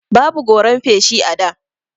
Babu goran feshi a da.